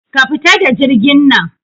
Ka fita da jirgin nan